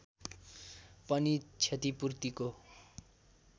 पनि क्षतिपूर्तिको